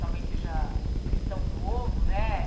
Talvez seja cristão novo, né?